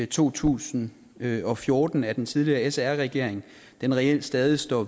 to tusind og fjorten af den tidligere sr regering reelt stadig står